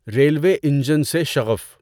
railway engine سے شغف